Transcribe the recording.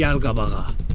Gəl qabağa.